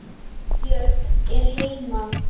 Björg er heima.